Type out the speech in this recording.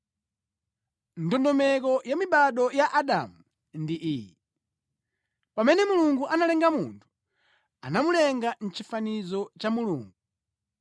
Ndondomeko ya mibado ya Adamu ndi iyi: Pamene Mulungu analenga munthu, anamulenga mʼchifaniziro cha Mulungu.